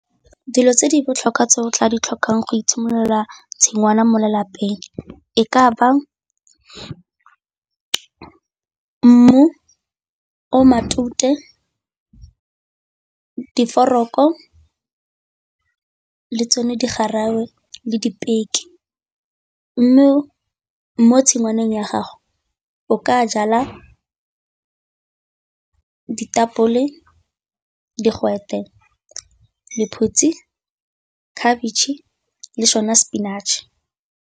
Dilo tse di botlhokwa tse o tla di tlhokang go itshimololela tshingwana mo lelapeng e ka ba mmu o matute, diforoko le tsone digawe le dipeke. Mme mo tshingwaneng ya gago o ka jala ditapole, digwete, lephutsi, khabitšhe le sone spinach.